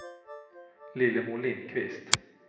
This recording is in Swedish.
Lillemor Lindquist